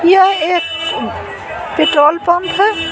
यह एक petrol pump है।